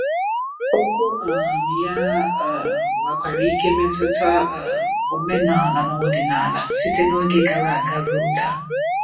Okwu um ya um nwekwara ike metụta um omenala na ọdịnala site n’oge gara aga ruo taa.